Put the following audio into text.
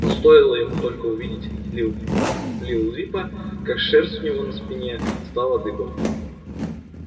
но стоило ему только увидеть лил лил липа как шерсть у него на спине встала дыбом